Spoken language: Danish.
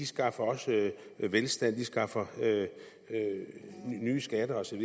skaffer velstand de skaffer nye skatter og så